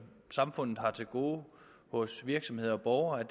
samfundet har til gode hos virksomheder og borgere er